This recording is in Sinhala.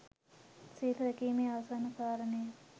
සිල් රැකීමේ ආසන්න කාරණය